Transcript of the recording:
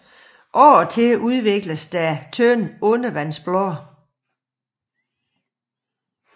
Af og til udvikles der tynde undervandsblade